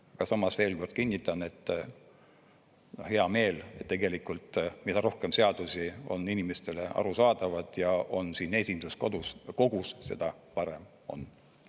Aga samas veel kord kinnitan, et hea meel tegelikult, mida rohkem seadusi on inimestele arusaadavad ja on siin esinduskogus, seda parem on.